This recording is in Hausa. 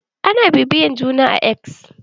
Ana bibiya juna a X.